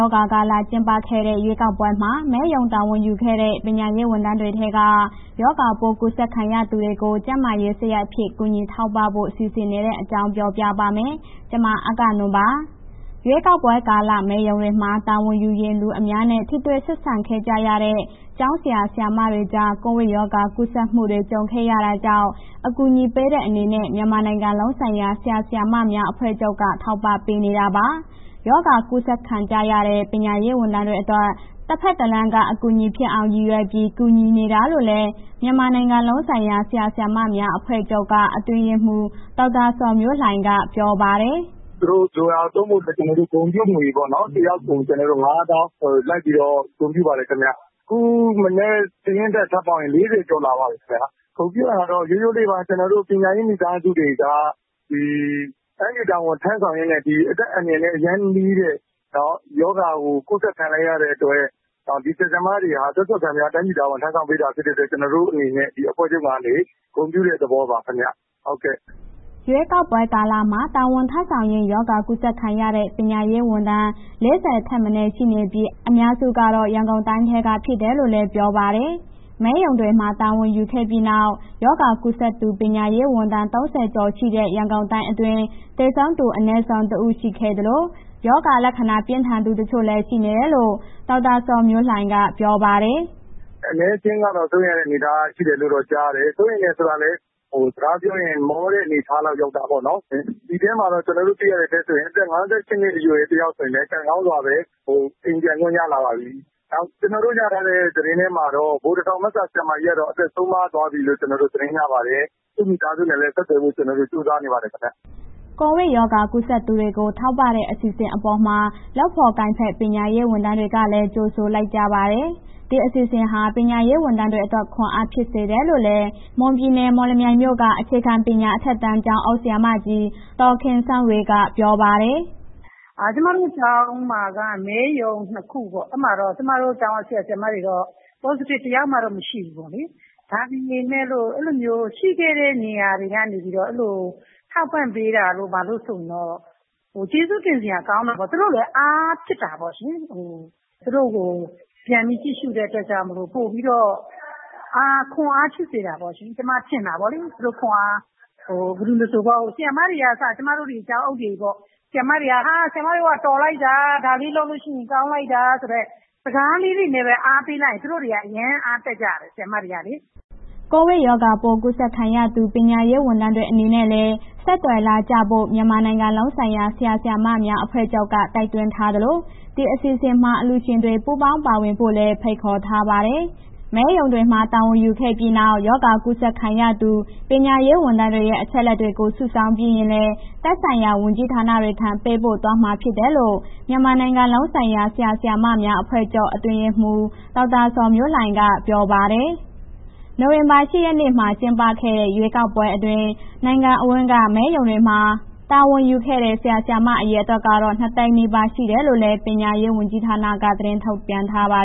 ောဂါကာလ ကျင်းပခဲ့တဲ့ ရွေးကောက်ပွဲမှာ မဲရုံတာဝန်ယူခဲ့တဲ့ ပညာရေးဝန်ထမ်းတွေထဲက ရောဂါပိုးကူးစက်ခံရသူတွေကို ကျန်းမာရေးစရိတ်အဖြစ် ကူညီထောက်ပံ့ဖို့ စီစဉ်နေတဲ့အကြောင်း ပြောပြပါမယ်။ ဗွီအိုအေမြန်မာပိုင်း သတင်းထောက် မအဂ္ဂနွန်က သတင်းပေးပို့ထားပါတယ်။ ရွေးကောက်ပွဲကာလ မဲရုံတွေမှာ တာဝန်ယူရင်း လူအများနဲ့ ထိတွေ့ဆက်ဆံခဲ့ကြရတဲ့ ကျောင်းဆရာ၊ ဆရာမတွေကြား ကိုဗစ်ရောဂါ ကူးစက်မှုတွေ ကြုံခဲ့ရတာကြောင့် အကူအညီပေးတဲ့ အနေနဲ့ မြန်မာနိုင်ငံလုံးဆိုင်ရာ ဆရာ၊ ဆရာမများအဖွဲ့ချုပ်က ထောက်ပံ့ပေးနေတာပါ။ ရောဂါကူးစက်ခံကြရတဲ့ ပညာရေးဝန်ထမ်းတွေအတွက် တဘက်တလမ်းက အထောက်အကူဖြစ်အောင် ရည်ရွယ်ပြီး ကူညီနေတာလို့လည်း မြန်မာနိုင်ငံလုံးဆိုင်ရာ ဆရာ၊ ဆရာမများအဖွဲ့ချုပ်က အတွင်းရေးမှူး ဒေါက်တာဇော်မျိုးလှိုင်က ပြောပါတယ်။ “သူတို့ လိုတာ သုံးဖို့အတွက် ကျနော်တို့ ဂုဏ်ပြုငွေပေါ့နော် တစ်ယောက်ကို ၅၀,၀၀၀ လိုက်ပြီး ဂုဏ်ပြုပါတယ်ခင်ဗျ။ အခုမနက် စာရင်းတက်ထပ်ပေါင်းရင် ၄၀ ကျော်လာပါပြီခင်ဗျာ။ ဂုဏ်ပြုတာတော့ ရိုးရိုးလေးပါ... ကျနော်တို့ ပညာရေးမိသားစုတွေက ဒီတိုင်းပြည်တာဝန်ထမ်းဆောင်ရင်းနဲ့ ဒီအသက်အန္တရာယ် အရမ်းနီးတဲ့ရောဂါကို ကူးစက်ခံလိုက်ရတဲ့အတွက် ဒီဆရာ၊ ဆရာမတွေက အသက်စွန့်ခံပြီး တိုင်းပြည်တာဝန် ထမ်းဆောင်ပေးတဲ့အတွက် ကျနော်တို့အနေနဲ့ အဖွဲ့ချုပ်ကနေ ဂုဏ်ပြုတဲ့ သဘောပါခင်ဗျာ။” ရွေးကောက်ပွဲကာလမှာ တာဝန်ထမ်းဆောင်ရင်း ရောဂါကူးစက်ခံရတဲ့ ပညာရေးဝန်ထမ်း ၄၀ ထက်မနည်း ရှိနေပြီး အများစုကတော့ ရန်ကုန်တိုင်းက ဖြစ်တယ်လို့လည်း ပြောပါတယ်။ မဲရုံတွေမှာ တာဝန်ယူခဲ့ပြီးနောက် ရောဂါကူးစက်သူ ပညာရေးဝန်ထမ်း ၃၀ ကျော် ရှိနေတဲ့ ရန်ကုန်တိုင်းအတွင်း သေဆုံးသူအနည်းဆုံး ၁ ဦး ရှိခဲ့သလို၊ ရောဂါလက္ခဏာ ပြင်းထန်သူ တချို့လည်း ရှိနေတယ်လို့ ဒေါက်တာဇော်မျိုးလှိုင်က ပြောပါတယ်။ “အနည်းအကျဉ်းကတော့ စိုးရိမ်ရတဲ့အနေအထားတော့ ကြားရတယ်၊ စိုးရိမ်တယ်ဆိုတာလည်း စကားပြောရင်း မောတဲ့ အနေအထားလောက်ရောက်တာပေါ့နော်။ အဲ့ဒီမှာတော့ ကျနော်တို့တွေ့ရတဲ့အထဲဆိုရင် အသက် ၅၈ နှစ်အရွယ် တစ်ယောက်ဆိုရင်လည်း ကံကောင်းစွာပဲ အိမ်ပြန်ခွင့်ရလာပါပြီ။ နောက် ကျနော်တို့ရထားတဲ့ သတင်းထဲမှာတော့ ဗိုလ်တထောင်ဘက်က ဆရာမကြီးကတော့ အသက်ဆုံးပါးသွားပြီလို့ ကျနော်တို့ သတင်းရပါတယ်။ သူ့မိသားစုနဲ့ ဆက်သွယ်ဖို့ ကျနော်တို့ ကြိုးစားနေပါတယ်။” ကိုဗစ်ရောဂါကူးစက်သူတွေကို ထောက်ပံ့တဲ့ အစီအစဉ်အပေါ်မှာတော့ လုပ်ဖော်ကိုင်ဖက် ပညာရေးဝန်ထမ်းတွေကလည်း ကြိုဆိုလိုက်ကြပါတယ်။ ဒီအစီအစဉ်ဟာ ပညာရေးဝန်ထမ်းတွေအတွက် ခွန်အားဖြစ်စေတယ်လို့လည်း မွန်ပြည်နယ် မော်လမြိုင်မြို့က အခြေခံပညာ အထက်တန်း ကျောင်းအုပ်ဆရာမကြီး ဒေါ်ခင်စန်းဝေက ပြောပါတယ်။ “ကျမတို့ ကျောင်းမှာက မဲရုံ ၂ ခုပေါ့၊ အဲ့မှာတော့ ကျမတို့ကျောင်းက ဆရာ၊ ဆရာမတွေတော့ positive တစ်ယောက်မှမရှိဘူးပေါ့လေ။ ဒါပေမဲ့ အဲ့လိုမျိုးရှိခဲ့တဲ့ နေရာတွေထဲကနေပြီးတော့ အဲ့ဒီလိုထောက်ပံ့ပေးတာ ဘာတို့ဆိုရင်တော့ ကျေးဇူးတင်စရာကောင်းတယ်ပေါ့။ သူတို့လည်း အားဖြစ်တာပေါ့ရှင်။ သူတို့ကို ပြန်ပြီးကြည့်ရှုတဲ့အတွက်ကြောင့်မို့လို့ ပိုပြီးတော့ ခွန်အားရှိစေတယ်ပေါ့ရှင်... ကျမထင်တာပေါ့။ ဘယ်သူမဆို ဆရာမတွေက အစ ကျမတို့ ကျောင်းအုပ်တွေပေါ့။ ဟာ... ဆရာမတွေက တော်လိုက်တာ ဒါလေးလုပ်လို့ရှိရင် ကောင်းလိုက်တာ စကားလေးနဲ့ပဲ အားပေးလိုက်ရင် သူတို့တွေ အရမ်းအားတက်ကြတယ် ဆရာမတွေကလေ။” ကိုဗစ်ရောဂါပိုး ကူးစက်ခံရသူ ပညာရေးဝန်ထမ်းတွေ အနေနဲ့လည်း ဆက်သွယ်လာကြဖို့ မြန်မာနိုင်ငံလုံးဆိုင်ရာ ဆရာ၊ ဆရာမများ အဖွဲ့ချုပ်က တိုက်တွန်းထားသလို၊ အစီအစဉ်မှာ အလှူရှင်တွေ ပူပေါင်းပါဝင်ဖို့လည်း ဖိတ်ခေါ်ထားပါတယ်။ မဲရုံတွေမှာ တာဝန်ယူခဲ့ပြီးနောက် ရောဂါကူးစက်ခံရသူ ပညာရေးဝန်ထမ်းတွေရဲ့ အချက်အလက်တွေကို စုဆောင်းပြီးရင်လည်း သက်ဆိုင်ရာ ဝန်ကြီးဌာနတွေထံ ပေးပို့သွားမှာဖြစ်တယ်လို့ မြန်မာနိုင်ငံလုံးဆိုင်ရာ ဆရာ ဆရာမများအဖွဲ့ချုပ် အတွင်းရေးမှူး ဒေါက်တာဇော်မျိုးလှိုင်က ပြောပါတယ်။ နိုဝင်ဘာလ ၈ ရက်နေ့မှာ ကျင်းပခဲ့တဲ့ ရွေးကောက်ပွဲအတွင်း နိုင်ငံအဝန်းက မဲရုံတွေမှာ တာဝန်ယူခဲ့တဲ့ ဆရာ၊ ဆရာမ အရေအတွက်ကတော့ ၂၀၀,၀၀၀ နီးပါး ရှိတယ်လို့လည်း ပညာရေးဝန်ကြီးဌာနက သတင်းထုတ်ပြန်ထားပါ